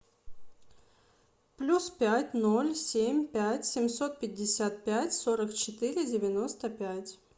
плюс пять ноль семь пять семьсот пятьдесят пять сорок четыре девяносто пять